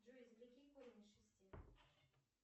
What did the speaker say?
джой извлеки корень из шести